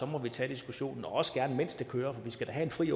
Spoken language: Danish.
må vi tage diskussionen også gerne mens det kører for vi skal da have en fri